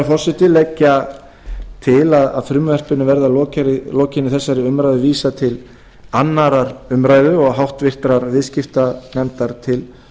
forseti leggja til að frumvarpinu verði að lokinni þessari umræðu vísað til annarrar umræðu og háttvirtur viðskiptanefndar til